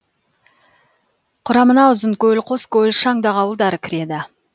құрамына ұзынкөл қоскөл шаңдақ ауылдары кіреді